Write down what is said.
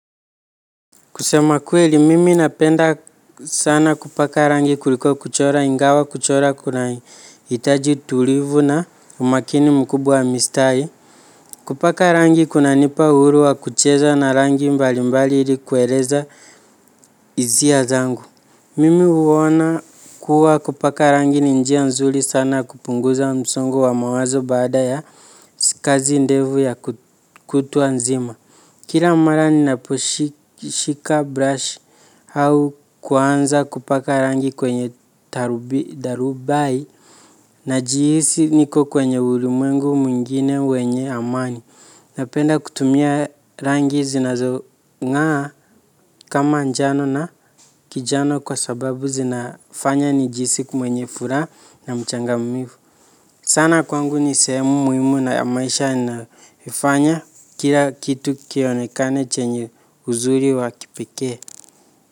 Kusema kweli mimi napenda sana kupaka rangi kuliko kuchora ingawa kuchora kunahitaji tulivu na umakini mkubwa mistahi. Kupaka rangi kunanipa uhuru wa kucheza na rangi mbali mbali ili kueleza hisia zangu. Mimi huona kuwa kupaka rangi ni njia nzuri sana kupunguza msongo wa mawazo baada ya kazi ndefu ya kutwa nzima. Kila mara ninaposhika brush au kuanza kupaka rangi kwenye darubai najihisi niko kwenye ulimwengu mwingine wenye amani. Napenda kutumia rangi zinazongaa kama njano na kijani kwa sababu zinafanya nijihisi kwenye furaha na mchangamfu. Sana kwangu ni sehemu muhimu na maisha naifanya kila kitu kionekane chenye uzuri wa kipekee.